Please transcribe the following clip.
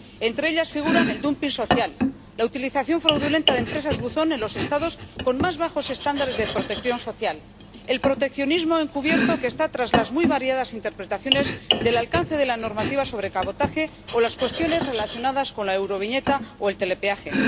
Entre ellas figuran el dumping social, la utilización fraudulenta de empresas buzón en los Estados con más bajos estándares de protección social, el proteccionismo encubierto que está tras las muy variadas interpretaciones del alcance de la normativa sobre cabotaje, o las cuestiones relacionadas con la euroviñeta o el telepeaje.